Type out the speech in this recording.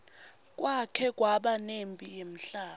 kwake kwaba nemphi yemhlaba